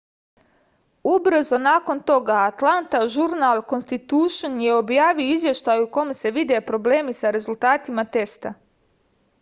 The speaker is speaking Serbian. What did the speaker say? ubrzo nakon toga atlanta žurnal konstitušn je objavio izveštaj u kom se vide problemi sa rezultatima testa